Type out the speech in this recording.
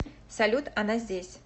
салют она здесь